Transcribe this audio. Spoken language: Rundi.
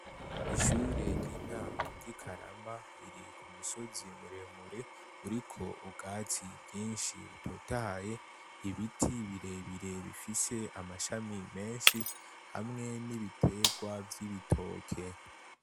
Ishure ry'intango ry'i karama ririka umusozi muremure uriko ubwatsi byinshi utotaye ibiti birebirebifise amashami menshi hamwe n'ibiterwa vy'ibitoke.